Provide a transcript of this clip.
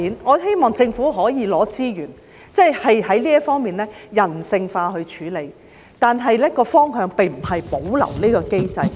我希望政府可以撥出資源，人性化地處理這問題，而方向並非是保留這個機制。